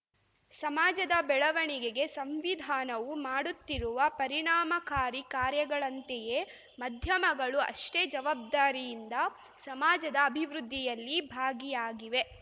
ಸಮಾಜದ ಬೆಳವಣಿಗೆಗೆ ಸಂವಿಧಾನವು ಮಾಡುತ್ತಿರುವ ಪರಿಣಾಮಕಾರಿ ಕಾರ್ಯಗಳಂತೆಯೇ ಮಧ್ಯಮಗಳು ಅಷ್ಟೇ ಜವಾಬ್ದಾರಿಯಿಂದ ಸಮಾಜದ ಅಭಿವೃದ್ಧಿಯಲ್ಲಿ ಭಾಗಿಯಾಗಿವೆ